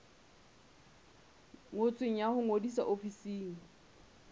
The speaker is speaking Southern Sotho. ngotsweng ya ho ngodisa ofising